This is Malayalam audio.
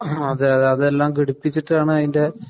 അതേയതെ, അതെല്ലാം ഘടിപ്പിചിട്ടാണ് അതിന്‍റെ